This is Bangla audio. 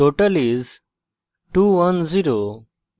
total is 210